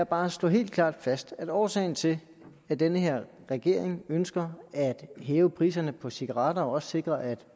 bare slå helt klart fast at årsagen til at den her regering ønsker at hæve priserne på cigaretter og også ønsker at sikre at